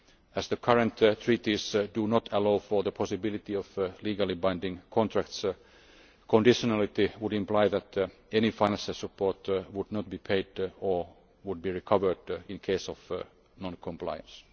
As the current Treaties do not allow for the possibility of legally binding contracts, conditionality would imply that no financial support would be paid or be recovered in case of non compliance.